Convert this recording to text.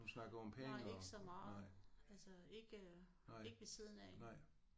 Nej ikke så meget altså ikke øh ikke ved siden af